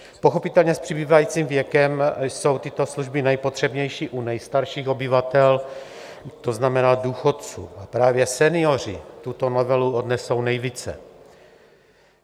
Pochopitelně s přibývajícím věkem jsou tyto služby nejpotřebnější u nejstarších obyvatel, to znamená důchodců, a právě senioři tuto novelu odnesou nejvíce.